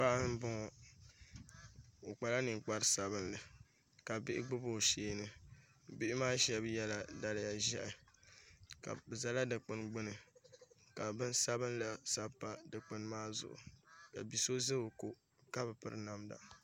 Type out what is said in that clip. Paɣa n bɔŋɔ o kpala ninkpari sabinli ka bihi gbubi o sheeni bihi maa shab yɛla daliya ʒiɛhi bi ʒɛla dikpuni gbuni ka bin sabinli sabi pa dikpuni maa zuɣu ni bia so ʒɛ o ko ka bi piri namda